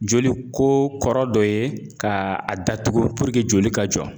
Joli ko kɔrɔ dɔ ye ka a datugu joli ka jɔ